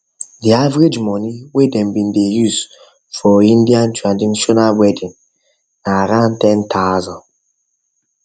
the average money whey them bin dey use for indian use for indian traditional weeding na around ten thousand